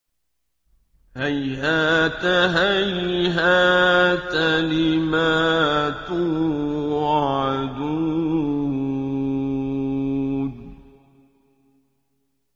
۞ هَيْهَاتَ هَيْهَاتَ لِمَا تُوعَدُونَ